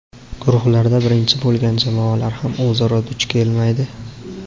Guruhlarda birinchi bo‘lgan jamoalar ham o‘zaro duch kelmaydi.